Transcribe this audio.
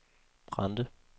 Brande